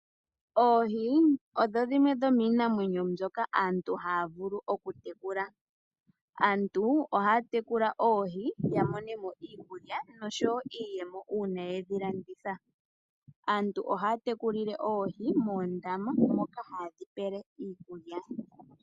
Oohi odho dhimwe dho miinamwenyo mbyoka aantu haya vulu oku tekula. Aantu ohaya tekula oohi ya monemo iikulya osho wo iiyemo uuna yedhi landitha. Aantu ohaya tekulile oohi moondama, moka ha ye dhi pele iikulya.